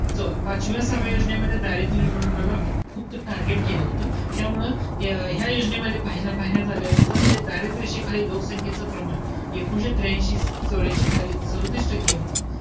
पाचव्या, सहाव्या, योजनेमध्ये दारिद्र्य निर्मूलनाला खूप target केलं होतं. त्यामुळं ह्य~ ह्या योजनेमध्ये पाह~ पाहण्यात आल्यानंतर दारिद्र्य रेषेखालील लोकसंख्या याच प्रमाण, एकोणीशे त्र्यांशी चौर्यांशी साली सदोतीस टक्के होतं.